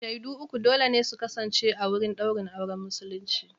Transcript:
Shaidu uku dole ne su kasance a wurin ɗaurin auren musulunci.